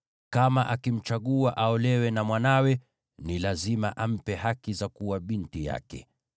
Kama akimchagua aolewe na mwanawe, ni lazima ampe haki za kuwa binti yake.